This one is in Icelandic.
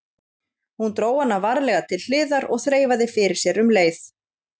Hún dró hana varlega til hliðar og þreifaði fyrir sér um leið.